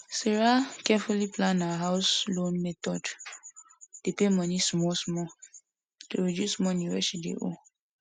sarah carefully plan her house loan method dey make payment smallsmall to reduce money wey she dey owe